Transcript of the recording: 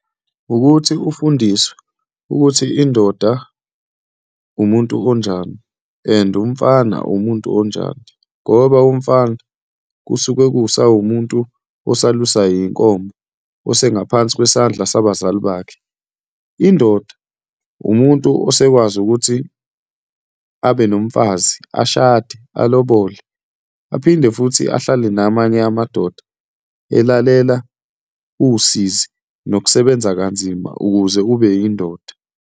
Wukuthi ufundiswe ukuthi indoda umuntu onjani and umfana umuntu onjani, ngoba umfana kusuke kusawumuntu osalusa iy'nkomo, osengaphansi kwesandla sabazali bakhe. Indoda umuntu osekwazi ukuthi abe nomfazi, ashade, alobole, aphinde futhi ahlale namanye amadoda elalela usizi nokusebenza kanzima ukuze ube yindoda.